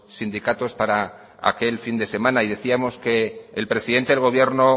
sindicatos para aquel fin de semana y decíamos que el presidente del gobierno